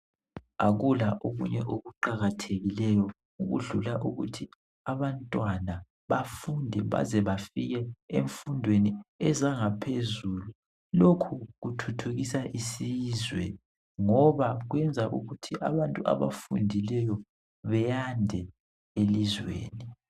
Akula okunye kuqakathekileyo okudlula ukuthi abantwana bafunde baze bafike emfundweni yezangaphezulu. Lokhu kuthuthukisa isizwe ngoba kwenza ukuthi abantu abafundileyo beyande elizweni.